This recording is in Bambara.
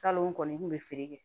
Salon n kɔni kun bɛ feere kɛ